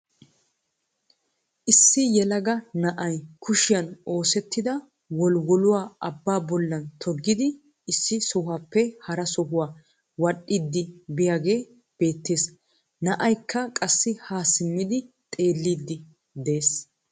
Issi yelaga na'ay kushiyaan oosettida wolwoluwaa abbaa bollan toggiidi issi sohuwaappe hara sohuwaa wadhdhiidi biyaagee beettees. Na'aykka qassi haa simmidi xeelliidi de'ees.